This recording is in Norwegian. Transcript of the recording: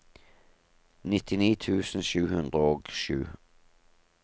nittini tusen sju hundre og sju